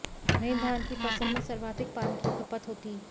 वहीं धान की फसल में सर्वाधिक पानी की खपत होती